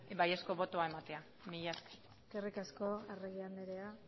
baiezko botoa ematea mila esker eskerrik asko arregi andrea